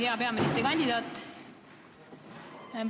Hea peaministrikandidaat!